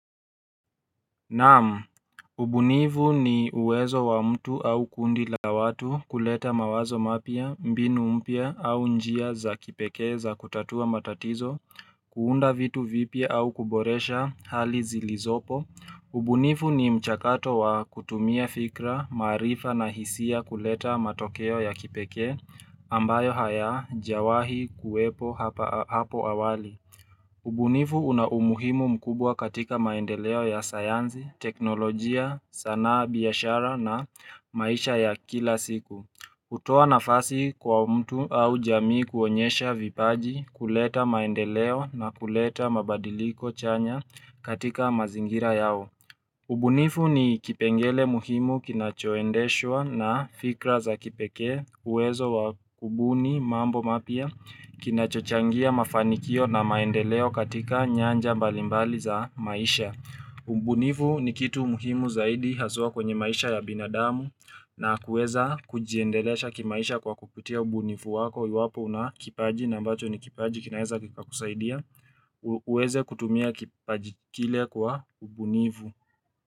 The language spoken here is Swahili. Naamu, ubunivu ni uwezo wa mtu au au kundi la watu kuleta mawazo mapya, mbinu mpya au njia za kipeke za kutatua matatizo, kuunda vitu vipia au kuboresha hali zilizopo, ubunivu ni mchakato wa kutumia fikra, marifa na hisia kuleta matokeo ya kipeke ambayo haya jawahi kuwepo hapo awali ubunifu una umuhimu mkubwa katika maendeleo ya sayanzi, teknolojia, sanaa biyashara na maisha ya kila siku. Kutoa nafasi kwa mtu au jamii kuonyesha vipaji kuleta maendeleo na kuleta mabadiliko chanya katika mazingira yao. Ubunifu ni kipengele muhimu kinachoendeshwa na fikra za kipeke uwezo wa kubuni mambo mpya kinachochangia mafanikio na maendeleo katika nyanja balimbali za maisha. Ubunifu ni kitu muhimu zaidi haswa kwenye maisha ya binadamu na kuweza kujiendelesha kimaisha kwa kupitia ubunifu wako yuwapo una kipaji na mbacho ni kipaji kinaeza kika kusaidia. Uweze kutumia kipajikile kwa ubunifu.